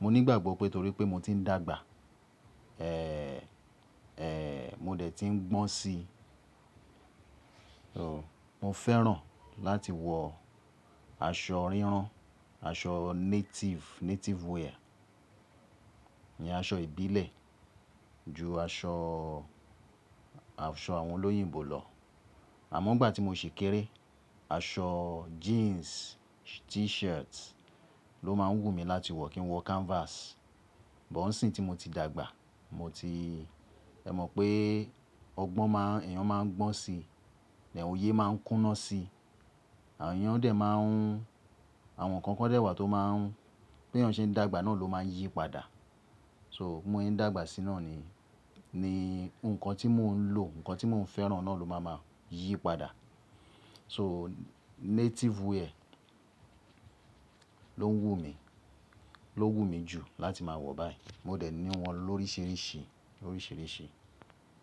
mo nígbàgbọ́ pé torí pé mo ti ń dàgbà, ẹẹẹẹ mo dẹ̀ ti ń gbọ́n si. So, mo fẹ́ràn láti wọ aṣọ ríran, aṣọ native, native wear, ìyẹn aṣọ ìbílẹ̀ ju aṣọ, aṣọ àwọn olóyìnbó lọ. Àmọ́ nigbà tí mo ṣì kéré, aṣọ jeans, t-shirt ló máa ń wù mí láti wọ̀ kí n wọ canvas. But nisinyi tí mo ti dàgbà, mo ti-- ẹ mọ̀ pé ọgbọ́n má ń, èèyàn má ń gbọ́n si, ni òye má ń kúná si. Àwọn èèyàn dẹ̀ má ń, àwọn nǹkan kan dẹ̀ wà tó má ń, bí èèyàn ṣe ń dàgbà náà ló máa ń yí padà. So, mo se n dàgbà sí náà ni, ni nǹkan tí mo ń lò, nǹkan tí mo ń fẹ́ràn náà ló máa máa yí padà. So, native wear ló ń wù mí, ló wù mí jù láti máa wọ̀ báyìí. Mo dẹ̀ ní wọn lóríṣìíríṣìí, oríṣìíríṣìí.